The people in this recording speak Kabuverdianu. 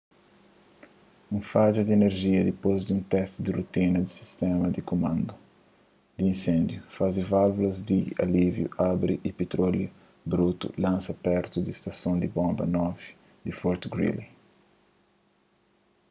un fadja di inerjia dipôs di un testi di rotina di sistéma di kumandu di inséndiu faze válvulas di alíviu abri y pitróliu brutu lansa pertu di stason di bonba 9 di fort greely